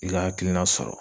I ka hakilina sɔrɔ